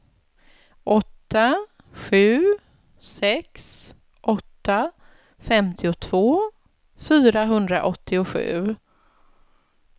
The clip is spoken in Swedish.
åtta sju sex åtta femtiotvå fyrahundraåttiosju